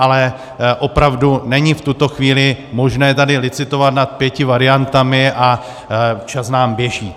Ale opravdu není v tuto chvíli možné tady licitovat nad pěti variantami a čas nám běží.